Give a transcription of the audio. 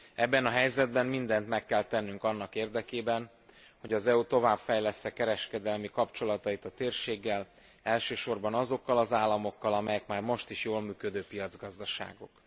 Ebben a helyzetben mindent meg kell tennünk annak érdekében, hogy az EU továbbfejlessze kereskedelmi kapcsolatait a térséggel, elsősorban azokkal az államokkal, amelyek már most is jól működő piacgazdaságok.